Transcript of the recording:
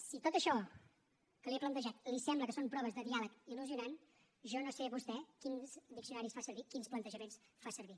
si tot això que li he plantejat li sembla que són proves de diàleg il·lusionant jo no sé vostè quins diccionaris fa servir quins plantejaments fa servir